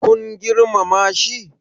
kun girmama shi?